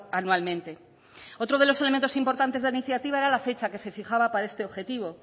anualmente otro de los elementos importantes de la iniciativa era la fecha que se fijaba para este objetivo